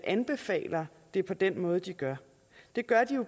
anbefaler det på den måde de gør det gør de